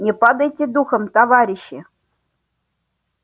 не падайте духом товарищи